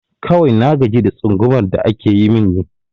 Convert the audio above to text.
Kawai na gaji da tsangumar da ake yi min ne